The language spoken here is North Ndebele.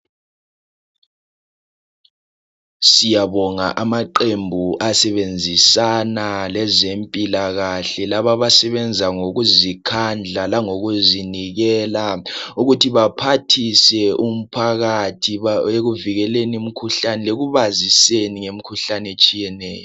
Siyabonga amaqembu asebenzisana lezempilakahle labo abasebenza ngokuzikhandla langokuzinikela ukuthi baphathise umphakathi ekuvikeleni imkhuhlane lekubaziseni ngemikhuhlane etshiyeneyo